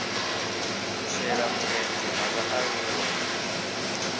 u shela mulenzhe ha vhaaluwa